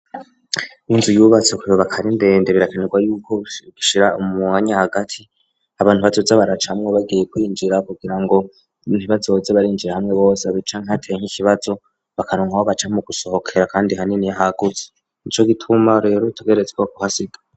Inzu yubatse bakayubaka ari ndende birakenerwa y'uko bashira umwanya hagati abantu bazoza baracamo bagiye kwinjira kugira ngo ntibazoze barinjirira hamwe bose canke hateye nk'ikibazo bakaronka aho baca mu gusohokera kandi hanini hagutse, nico gituma rero tugerezwa kuhasiga.